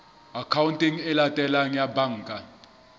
akhaonteng e latelang ya banka